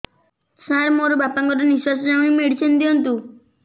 ସାର ମୋର ବାପା ଙ୍କର ନିଃଶ୍ବାସ ଯାଉନି ମେଡିସିନ ଦିଅନ୍ତୁ